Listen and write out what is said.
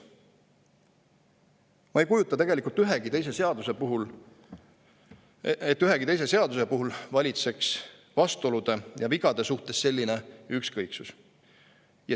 Ma ei kujuta ette, et ühegi teise seaduse puhul valitseks vastuolude ja vigade suhtes selline ükskõiksus.